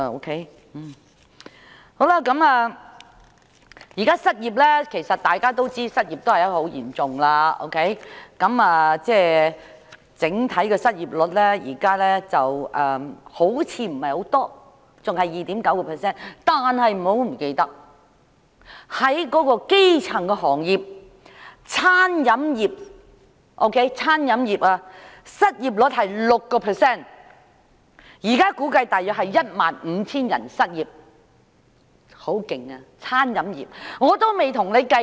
大家知道失業情況嚴重，儘管目前的整體失業率看似不高，仍然維持於 2.9%， 但不要忘記，在基層行業中，例如餐飲業的失業率是 6%， 現時估計約有 15,000 人失業，顯示餐飲業的失業情況很嚴重。